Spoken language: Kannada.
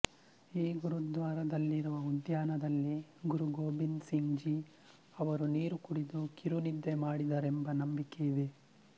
ಈ ಗುರುದ್ವಾರದಲ್ಲಿರುವ ಉದ್ಯಾನದಲ್ಲಿ ಗುರು ಗೋಬಿಂದ್ ಸಿಂಗ್ ಜೀ ಅವರು ನೀರು ಕುಡಿದು ಕಿರು ನಿದ್ದೆ ಮಾಡಿದರೆಂಬ ನಂಬಿಕೆಯಿದೆ